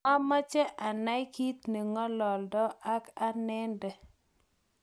mameche anai kiit ne ng'olondoi ak anende